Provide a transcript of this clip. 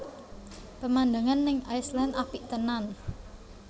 Pemandangan ning Iceland apik tenan